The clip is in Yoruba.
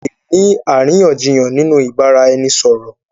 À lè ní àríyànjiyàn nínú ìbáraẹnisọ̀rọ̀.